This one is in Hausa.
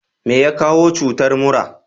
meya kawo cutar mura?